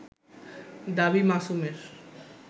দাবী মাসুমের